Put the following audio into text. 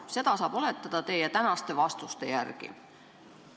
Seda saab oletada teie tänaste vastuste järgi.